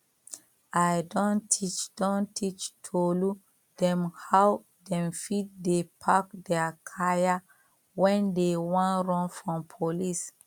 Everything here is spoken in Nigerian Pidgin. i don teach don teach tolu dem how dem fit dey pack dia kaya when dey wan run from police